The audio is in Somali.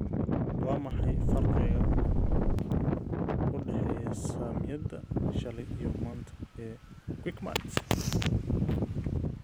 Waa maxay faraqa u dhexeeya saamiyada shalay iyo maanta ee Quickmart